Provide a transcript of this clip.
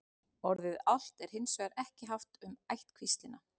Orðið álft er hins vegar ekki haft um ættkvíslina.